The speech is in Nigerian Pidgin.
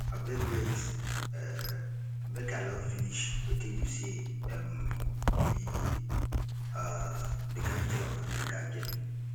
abeg wait um make i iaugh finish wetin you say um be um the capital of america again